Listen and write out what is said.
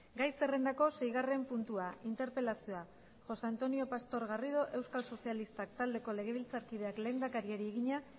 gai zerrendako seigarren puntua interpelazioa josé antonio pastor garrido euskal sozialistak taldeko legebiltzarkideak lehendakariari egina